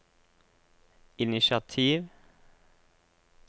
initiativ